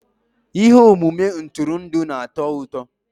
Ihe omume ntụrụndụ na-atọ ụtọ.